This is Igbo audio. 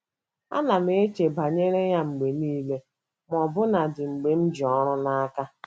Ana m eche banyere ya mgbe nile, ma ọbụnadị mgbe m ji ọrụ n’aka. ”